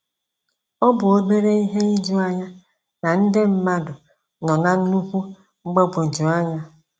Ọ bụ obere ihe ijuanya na nde mmadụ nọ na nnukwu mgbagwoju anya.